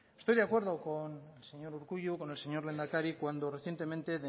estoy de acuerdo con el señor urkullu con el señor lehendakari cuando recientemente